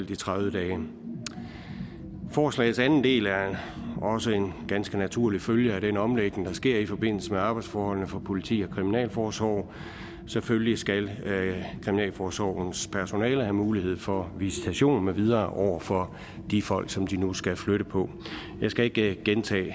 de tredive dage forslagets anden del er også en ganske naturlig følge af den omlægning der sker i forbindelse med arbejdsforholdene for politi og kriminalforsorg selvfølgelig skal kriminalforsorgens personale have mulighed for visitation med videre over for de folk som de nu skal flytte på jeg skal ikke gentage